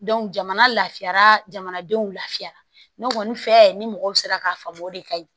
jamana lafiyara jamanadenw lafiyara ne kɔni fɛ ni mɔgɔw sera k'a faamu o de ka ɲi